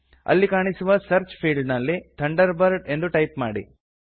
ಅಲ್ಲಿ ಕಾಣಿಸುವ search field ನಲ್ಲಿ ಥಂಡರ್ಬರ್ಡ್ ಎಂದು ಟೈಪ್ ಮಾಡಿ